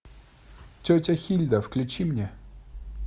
тетя хильда включи мне